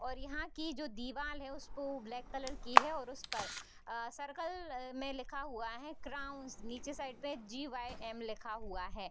और यहाँ की जो दीवाल है उसपे ब्लैक कलर की है और उस पर अ सर्किल में लिखा हुआ है क्राउनस निचे साइड पे जीवायएम लिखा हुआ है।